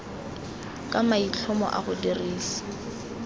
ka maitlhomo a go dirisa